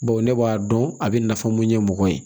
Bawo ne b'a dɔn a bɛ nafa mun ɲɛ mɔgɔ ye